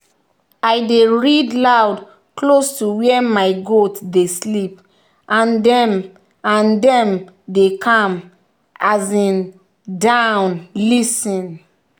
i dey read loud close to where my goats dey sleep and dem and dem dey calm um down lis ten